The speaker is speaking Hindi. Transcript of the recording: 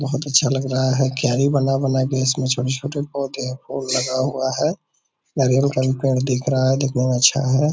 बहुत अच्छा लग रहा है क्यारी बना-बना के इसमें छोटे-छोटे पौधे हैं फुल लगा हुआ है नारियल का भी पेड़ दिख रहा है देखने मे अच्छा है।